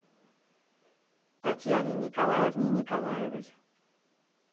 татьяне николаевне николаевой